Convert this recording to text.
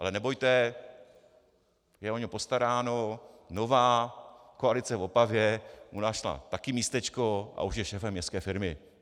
Ale nebojte, je o něj postaráno, nová koalice v Opavě mu našla také místečko a už je šéfem městské firmy.